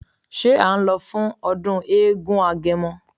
Ṣé à ń lọ sí ọdún eégún agẹmọ?